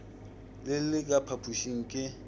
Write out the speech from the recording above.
le le ka phapošing ke